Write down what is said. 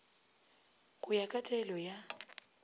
go ya ka taelo ya